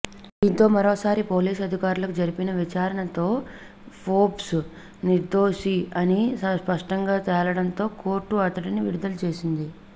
దీంతో మరోసారి పోలీస్ అధికారులు జరిపిన విచారణతో ఫోర్బ్స్ నిర్దోషి అని స్పష్టంగా తేలడంతో కోర్టు అతడిని విడుదల చేసింది